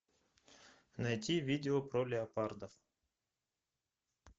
найти видео про леопарда